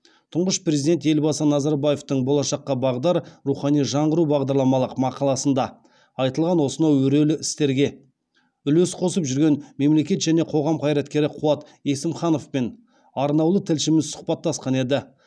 тұңғыш президент елбасы назарбаевтың болашаққа бағдар рухани жаңғыру бағдарламалық мақаласында айтылған осынау өрелі істерге үлес қосып жүрген мемлекет және қоғам қайраткері қуат есімхановпен арнаулы тілшіміз сұхбаттасқан еді